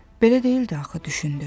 Belə deyildi axı, düşündü.